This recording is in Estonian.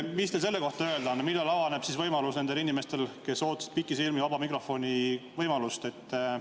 Mis teil selle kohta öelda on, millal avaneb see võimalus nendel inimestel, kes ootasid pikisilmi vaba mikrofoni võimalust?